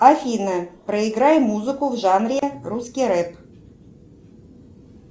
афина проиграй музыку в жанре русский рэп